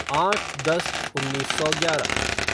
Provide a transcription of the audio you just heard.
आठ दस उन्नीस सौ ग्यारह